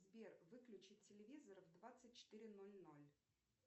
сбер выключить телевизор в двадцать четыре ноль ноль